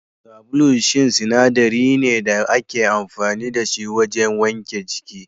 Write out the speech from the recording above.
Sabulu shine sinadarin da ake amfani da shi wajen wanke jiki